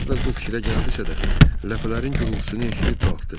O əvvəl bu fikrə gəldisə də, ləfələrin gurultusunu eşidib qalxdı.